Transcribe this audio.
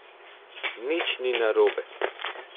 Nič ni narobe.